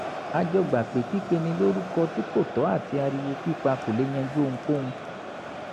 a jọ gbà pé pípeni lórúkọ tí kò tọ́ àti ariwo pípa kò lè yanjú ohunkóhun